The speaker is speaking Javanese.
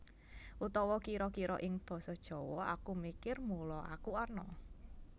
Utawa kira kira ing Basa Jawa Aku mikir mula aku ana